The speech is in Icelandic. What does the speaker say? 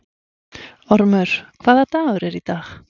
Ormur, hvaða dagur er í dag?